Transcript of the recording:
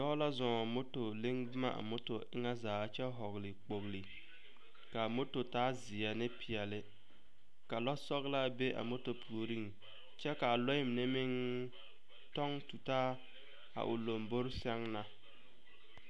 Dɔɔ la zɔɔ motor leŋ boma a motor eŋɛ zaa kyɛ vɔgle kpogle ka a motor taa zie ne peɛlle ka lɔsɔglaa be a motor puoriŋ kyɛ ka a lɔɛ mine meŋ tɔŋ tutaa a o lombore sɛŋ na.